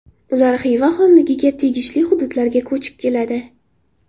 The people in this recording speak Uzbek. Ular Xiva xonligiga tegishli hududlarga ko‘chib keladi.